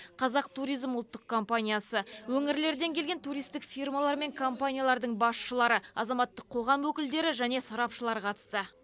қазақтуризм ұлттық компаниясы өңірлерден келген туристік фирмалар мен компаниялардың басшылары азаматтық қоғам өкілдері және сарапшылар қатысты